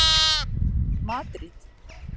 Madríd